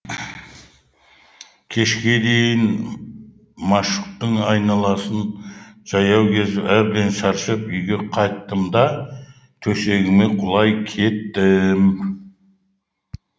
кешке дейін машуктың айналасын жаяу кезіп әбден шаршап үйге қайттым да төсегіме құлай кеттім